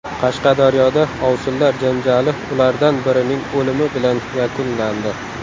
Qashqadaryoda ovsinlar janjali ulardan birining o‘limi bilan yakunlandi.